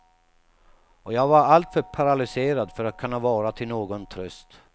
Och jag var alltför paralyserad för att kunna vara till någon tröst.